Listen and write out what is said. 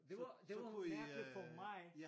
Så så kunne i øh ja